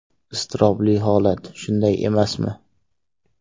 Iztirobli holat, shunday emasmi?